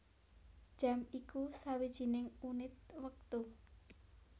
Jam iku sawijining unit wektu